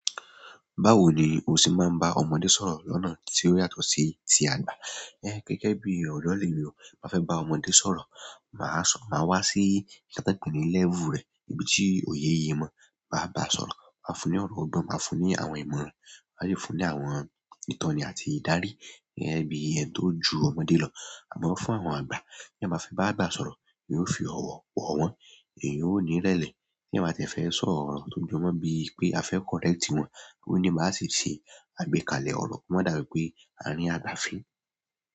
Báwo ni o ṣe máa ń bá ọmọdé sọ̀rọ̀ lọ́nà tí ó yàtọ̀ sí ti àgbà? Ẹ́, gẹ́gẹ́ bí oró lè ni o máa fẹ́ bá ọmọdé sọ̀rọ̀, màá sọ, màá wá sí kí a tọ́ pé ni level rẹ̀, ibi tí òye ye mọ̀. Maá bàá sọ̀rọ̀, máa fún un ní ọ̀rọ̀ ọgbọ́n, màá fún un ní àwọn ìmọ̀ràn, màá sì fún un ní àwọn ìtọ́ni àti ìdarí, ẹ́, bí i ẹ̀yin tó ju ọmọdé lọ. Àmọ́ fún àwọn àgbà, tí ẹ ma fe bá àgbà sọ̀rọ̀, èyí ó fi ọ̀wọ̀ wọ̀ wọ́n, èyí ò ní irẹ́lẹ̀. Tí eeyan ba tiẹ́ fẹ́ sọ rọ̀ tó jọ mọ́ bí i pé a fẹ́ correct wọn, òní máa ṣe ṣe àgbékalẹ̀ ọ̀rọ̀, kí ọ́ má dàbí pé a rín àgbà fín.